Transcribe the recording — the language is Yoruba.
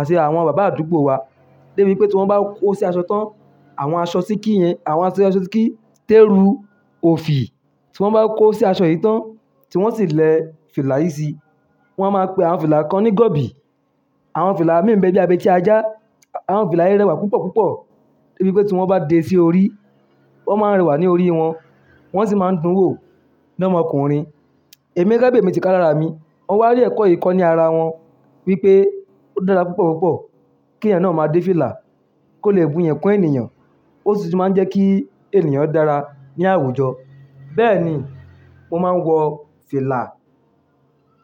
àti àwọn bàbá àdúgbò wa. Débi wípé tí wọ́n bá kó sí aṣọ tán, àwọn aṣọ síkì yẹn, àwọn aṣọ síkì, tẹrú, òfì. Tí wọ́n bá kó sí aṣọ yìí tán, tí wọ́n sì lẹ fìlà yìí sí i, wọ́n á máa pe àwọn fìlà kan ní gọ̀bí. Àwọn fìlà mìí n be bíi abẹ́tí ajá, àwọn fìlà yi rẹwà púpọ̀ púpọ̀. Débi wípé tí wọ́n bá dé sí orí, wọ́n máa ń rẹwà ní orí wọn. Wọ́n sì máa ń dún wò lọ́mọ ọkùnrin. Ẹ̀mi gẹ́gẹ́ bí èmi ti ká la ràá mi, mo wá rí ẹ̀kọ́ yìí kọ́ ní ara wọn wípé ó dára púpọ̀ púpọ̀ kí ẹnìyàn náà máa dé fìlà kó lè bu iyi kún ènìyàn. Ó sì tun máa ń jẹ́ kí ènìyàn dára ní àwùjọ. Bẹ́ẹ̀ni, mo máa ń wọ fìlà.